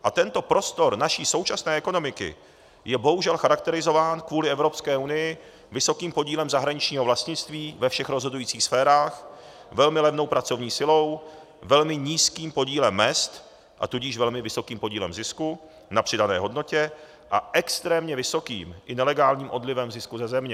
A tento prostor naší současné ekonomiky je bohužel charakterizován kvůli Evropské unii vysokým podílem zahraničního vlastnictví ve všech rozhodujících sférách, velmi levnou pracovní silou, velmi nízkým podílem mezd, a tudíž velmi vysokým podílem zisku na přidané hodnotě a extrémně vysokým i nelegálním odlivem zisku ze země.